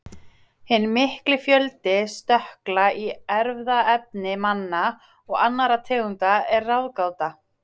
Hinn mikli fjöldi stökkla í erfðaefni manna og annarra tegunda er ráðgáta.